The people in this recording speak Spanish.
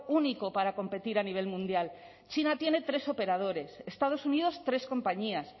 único para competir a nivel mundial china tiene tres operadores estados unidos tres compañías